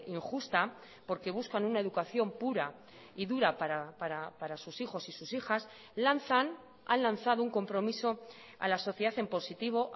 injusta porque buscan una educación pura y dura para sus hijos y sus hijas lanzan han lanzado un compromiso a la sociedad en positivo